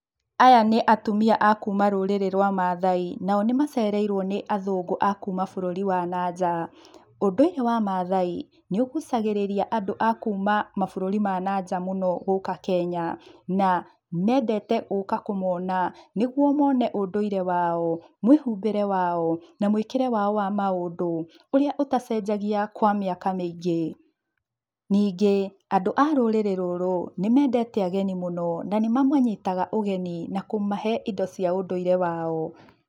Aya nĩ atumia akuma rũrĩrĩ rũa Maathai, nao nimacereirũo nĩ athũngũ akuma bũrũri wa na-nja. Undũire wa Maathai, nĩũgucagĩrĩria andũ a kuma mabũrũri ma na-nja mũno gũka Kenya, na mendete gũka kũmona nĩguo mone ũndũire wao, mũĩhumbĩre wao, na mũĩkĩre wao wa maũndũ ũrĩa ũtacenjagia kwa mĩaka mĩingi. Ningi andũ a rũrĩrĩ rúrũ nĩmendete ageni mũno na nĩmamanyitaga ũgeni na kũmahe indo cia ũndũire wao.